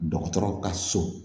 Dɔgɔtɔrɔw ka so